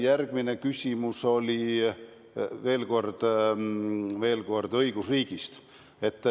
Järgmine küsimus oli veel kord õigusriigist.